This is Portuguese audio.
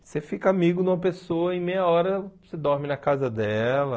Você fica amigo de uma pessoa e em meia hora você dorme na casa dela.